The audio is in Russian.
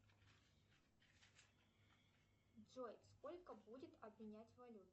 джой сколько будет обменять валюту